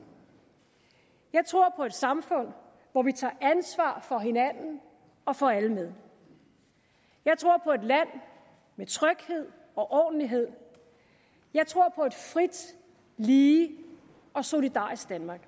jeg tror på et samfund hvor vi tager ansvar for hinanden og får alle med jeg tror på et land med tryghed og ordentlighed jeg tror på et frit lige og solidarisk danmark